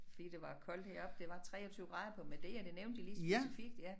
Fordi det var koldt heroppe det var 23 grader på Madeira det nævnte de lige specifikt ja